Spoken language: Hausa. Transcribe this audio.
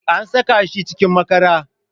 An saka shi cikin makara